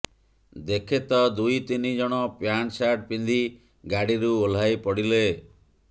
ଦେଖେ ତ ଦୁଇ ତିନି ଜଣ ପ୍ୟାଣ୍ଟ ସାର୍ଟ ପିନ୍ଧି ଗାଡିରୁ ଓହ୍ଲାଇ ପଡିଲେ